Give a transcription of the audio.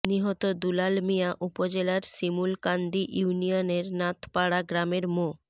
নিহত দুলাল মিয়া উপজেলার শিমূলকান্দি ইউনিয়নের নাথপাড়া গ্রামের মো